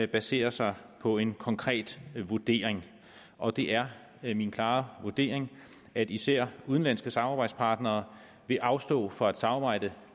basere sig på en konkret vurdering og det er er min klare vurdering at især udenlandske samarbejdspartnere vil afstå fra at samarbejde